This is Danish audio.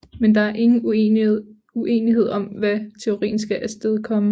Men der er ingen uenighed om hvad teorien skal astedkomme